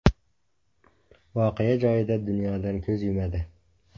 voqea joyida dunyodan ko‘z yumadi.